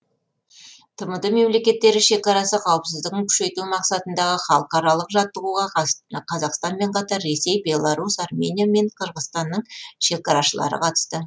тмд мемлекеттері шекарасы қауіпсіздігін күшейту мақсатындағы халықаралық жаттығуға қазақстанмен қатар ресей беларусь армения мен қырғызстанның шекарашылары қатысты